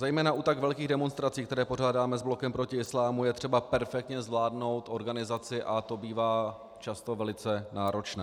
Zejména u tak velkých demonstrací, které pořádáme s Blokem proti islámu, je třeba perfektně zvládnout organizaci a to bývá často velice náročné.